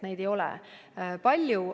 Neid ei ole palju.